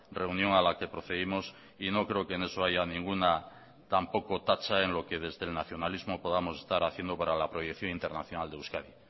reunión a la que procedimos y no creo que en eso haya ninguna tampoco tacha en lo que desde el nacionalismo podamos estar haciendo para la proyección internacional de euskadi